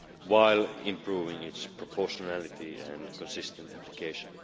while improving its proportionality and consistent application.